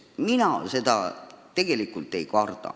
Mina seda tegelikult ei karda.